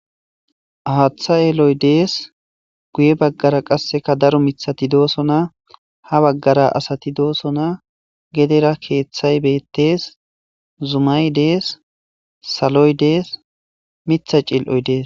awatha yeeloy dees guye baggara qasseka daro mithati doosona ha baggara asati doosona gedera keeththay bettes zumay dees saloy dees mitha cil7oy dees